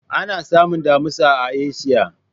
Ana samun Damusa a Asiya.